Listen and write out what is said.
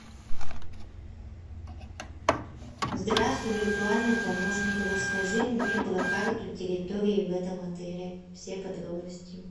здравствуй виртуальный помощник расскажи мне про карту территории в этом отеле все подробности